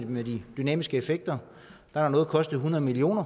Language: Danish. med de dynamiske effekter når noget kostede hundrede million